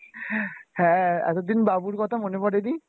হম হ্যাঁ এতদিন বাবুর কথা মনে পরে নি?